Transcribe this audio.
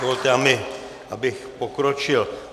Dovolte mi, abych pokročil.